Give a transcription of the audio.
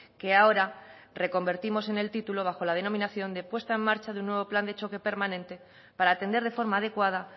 que ahora reconvertimos en el título bajo la denominación de puesta en marcha de un nuevo plan de choque permanente para atender de forma adecuada